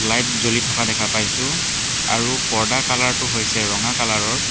Light জ্বলি থকা দেখা পাইছোঁ আৰু পৰ্দাৰ কালাৰটো হৈছে ৰঙা কালাৰৰ।